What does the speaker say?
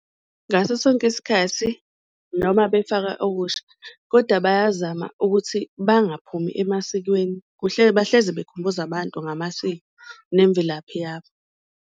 Ngasosonke isikhathi noma befaka okusha koda bayazama ukuthi bangaphumi emasikweni, bahlezi bekhumbuza abantu ngamasiko nemvelaphi yabo.